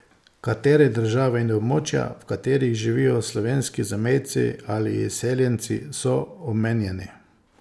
Katere države in območja, v katerih živijo slovenski zamejci ali izseljenci, so omenjeni?